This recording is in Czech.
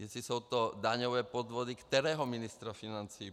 Jestli jsou to daňové podvody kterého ministra financí?